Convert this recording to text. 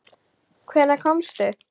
Hvenær komstu?